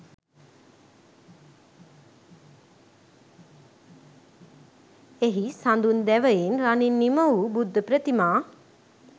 එහි සඳුන් දැවයෙන් රනින් නිමවූ බුද්ධ ප්‍රතිමා